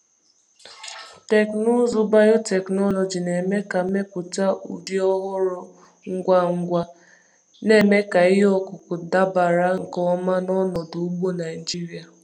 Teknụzụ biotechnology na-eme ka mmepụta ụdị ọhụrụ ngwa ngwa, na-eme ka ihe ọkụkụ dabara nke ọma na ọnọdụ ugbo Naijiria.